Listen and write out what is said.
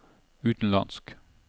utenlandsk